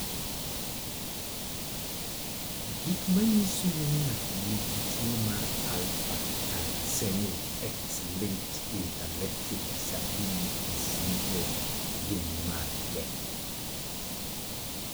Gik manyiso ni ng'ato nigi tuwo mar Alpha thalassemia x - linked intellectual disability syndrome gin mage?